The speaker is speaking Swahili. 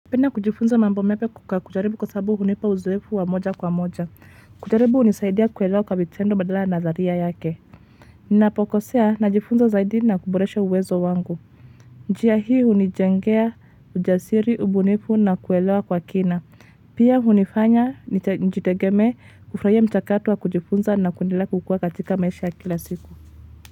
Napenda kujifunza mambo mapya kujaribu kwasababu hunipa uzoefu wa moja kwa moja. Kujaribu hunisaidia kuelewa kwa vitendo badala ya nadharia yake. Ninapokosea najifunza zaidi na kuboresha uwezo wangu. Njia hii hunijengea ujasiri, ubunifu na kuelewa kwa kina. Pia hunifanya nijitegeme kufurahia mchakato wa kujifunza na kuendelea kukua katika maisha ya kila siku.